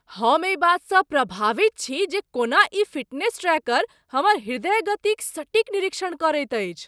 हम एहि बातसँ प्रभावित छी जे कोना ई फिटनेस ट्रैकर हमर हृदय गतिक सटीक निरीक्षण करैत अछि।